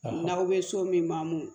N'aw bɛ so min mamu